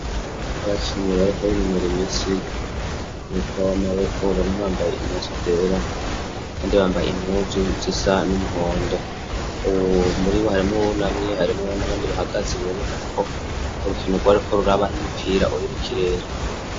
Abacinyi bariko b'inumura imisi mumupira w'amaboko babibambaye imuzu zera bandibambaye imuzu zisa n'umuhondo uwu muribo harimo wunamye harimo wu n'abandi bahagaze bironekana ko urukinu rwa, ariko ruraba n'umupira uri mu kirere.